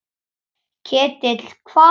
Ketill hvað?